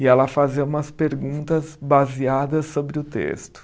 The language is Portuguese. e ela fazia umas perguntas baseadas sobre o texto.